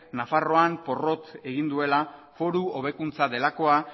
nafarroan porrot egin duela foru hobekuntza delakoa